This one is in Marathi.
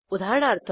उदाहरणार्थ